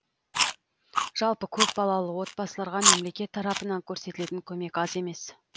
жалпы көпбалалы отбасыларға мемлекет тарапынан көрсетілетін көмек аз емес